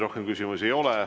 Rohkem küsimusi ei ole.